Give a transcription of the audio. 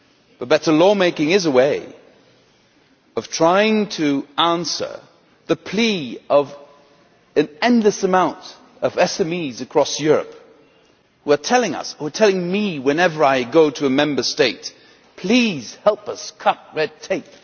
But better law making is a way of trying to answer the plea of an endless number of SMEs across Europe which are telling me whenever I go to a Member State please help us cut red tape